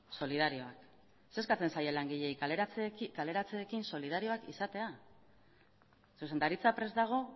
solidarioak ze eskatzen zaie langileei kaleratzeekin solidarioak izatea zuzendaritza prest dago